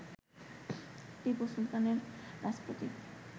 টিপু সুলতানের রাজপ্রতীক